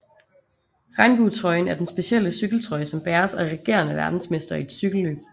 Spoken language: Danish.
Regnbuetrøjen er den specielle cykeltrøje som bæres af regerende verdensmester i et cykelløb